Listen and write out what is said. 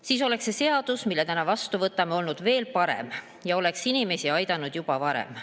Siis oleks see seadus, mille täna vastu võtame, olnud veel parem ja oleks inimesi aidanud juba varem.